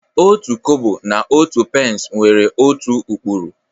Otu Kobo na otu pence nwere otu ụkpụrụ